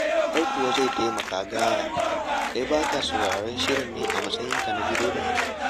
Ai kuwa zai taimaka gaya! Kai ba ka sauraren shirin ne a matsayinka na direba?